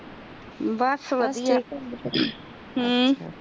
ਬਸ ਵਧੀਆ